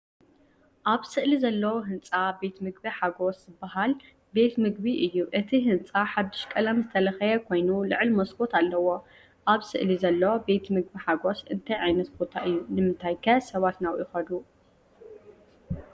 ኣብ ስእሊ ዘሎ ህንጻ "ቤት ምግቢ ሓጎስ" ዝበሃል ቤት ምግቢ እዩ። እቲ ህንጻ ሓድሽ ቀለም ዝተለኽየ ኮይኑ ልዑል መስኮት ኣለዎ። ።ኣብ ስእሊ ዘሎ “ቤት ምግቢ ሓጎስ” እንታይ ዓይነት ቦታ እዩ ንምንታይከ ሰባት ናብኡ ይኸዱ?